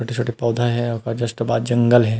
छोटे छोटे पौधा है ओकर जस्ट बाद जंगल है ।